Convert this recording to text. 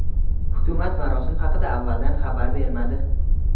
Hukumat marosim haqida avvaldan xabar bermadi.